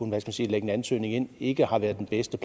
man kan sige lægge en ansøgning ind ikke har været den bedste